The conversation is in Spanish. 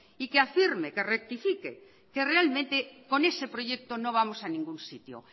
y que afirme que rectifique que realmente con ese proyecto no vamos a ningún sitio